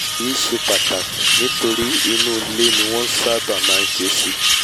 èyí ṣe pàtàkì nítorí inú ilé ni wọ́n nṣábà má nṣe é sí